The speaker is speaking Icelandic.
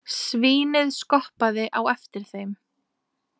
Svínið skoppaði á eftir þeim.